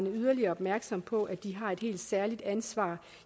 yderligere opmærksomme på at de har et helt særligt ansvar